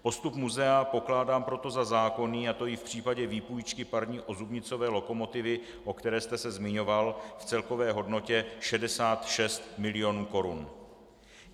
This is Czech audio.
Postup muzea pokládám proto za zákonný, a to i v případě výpůjčky parní ozubnicové lokomotivy, o které jste se zmiňoval, v celkové hodnotě 66 mil. korun.